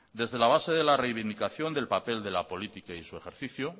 desde la base de la reivindicación del papel de la política y de su ejercicio